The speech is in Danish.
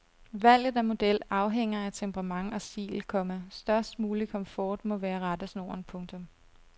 Valget af model afhænger af temperament og stil, komma størst mulig komfort må være rettesnoren. punktum